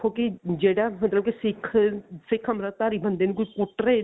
ਕੀ ਜਿਹੜਾ ਮਤਲਬ ਕੀ ਸਿੱਖ ਸਿੱਖ ਅਮ੍ਰਿਤਧਾਰੀ ਬੰਦੇ ਨੂੰ ਕੋਈ ਕੁੱਟ ਰਿਹਾ